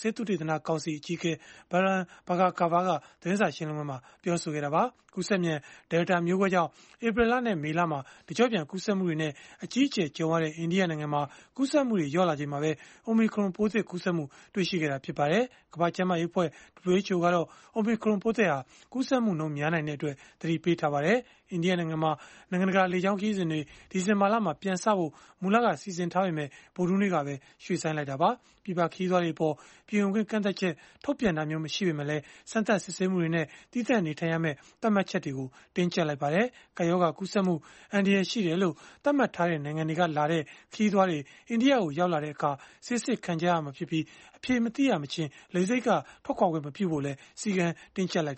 ဆေးသုတေသန ကောင်စီ အကြီးအကဲ Balram Bhargava က သတင်းစာရှင်းလင်းပွဲမှာ ပြောဆိုခဲ့တာပါ။ ကူးစက်မြန် Delta မျိုးကွဲကြောင့် ဧပြီလနဲ့ မေလမှာ တကျော့ပြန် ကူးစက်မှုတွေနဲ့ အကြီးအကျယ် ကြုံခဲ့ရတဲ့ အိန္ဒိယနိုင်ငံမှာ ကူးစက်မှုတွေ လျော့လာချိန်မှာပဲ Omicron ပိုးသစ်ကူးစက်မှု တွေ့ရှိခဲ့တာလည်း ဖြစ်ပါတယ်။ ကမ္ဘာ့ကျန်းမာရေးအဖွဲ့ (WHO) ကတော့ Omicron ပိုးသစ်ဟာ ကူးစက်မှုနှုန်း များနိုင်တဲ့အတွက် သတိပေးထားပါတယ်။ အိန္ဒိယနိုင်ငံမှာ နိုင်ငံတကာ လေကြောင်း ခရီးစဉ်တွေ ဒီဇင်ဘာလမှာ ပြန်စဖို့ မူလက စီစဉ်ထားပေမဲ့ ဗုဒ္ဓဟူးနေ့ကပဲ ရွှေ့ဆိုင်းခဲ့တာပါ။ ပြည်ပခရီးသွားတွေအပေါ် ပြည်ဝင်ခွင့် ကန့်သတ်ချက် ထုတ်ပြန်တာမျိုး မရှိပေမဲ့လည်း စမ်းသပ်စစ်ဆေးမှုတွေနဲ့ သီးသန့်နေထိုင်ရမယ့် သတ်မှတ်ချက်တွေကို တင်းကျပ်လိုက်ပါတယ်။ ကပ်ရောဂါ ကူးစက်မှု အန္တရာယ်ရှိတယ်လို့ သတ်မှတ်ထားတဲ့ နိုင်ငံတွေကလာတဲ့ ခရီးသွားတွေ အိန္ဒိယကို ရောက်လာတဲ့အခါ ဆေးစစ်ခံရမှာဖြစ်ပြီး အဖြေမသိရမချင်း လေဆိပ်က ထွက်ခွာခွင့်မပြုဖို့လည်း စည်းကမ်းတင်းကျပ်လိုက်